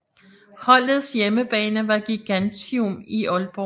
Holdets hjemmebane var Gigantium i Aalborg